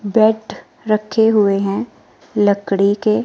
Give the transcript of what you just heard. बैठ रखे हुए हैं लकड़ी के--